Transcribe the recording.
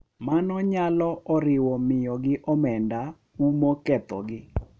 Mano nyalo oriwo miyogi omenda, umo kethogi, .